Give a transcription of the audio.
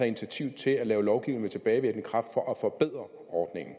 initiativ til at lave lovgivning med tilbagevirkende kraft for at forbedre ordningen